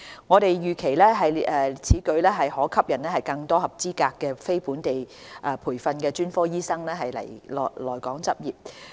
我們預期此舉將可吸引更多合資格的非本地培訓專科醫生來港執業。